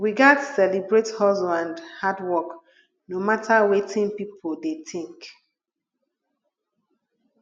we gats celebrate hustle and hard work no matter wetin pipo dey think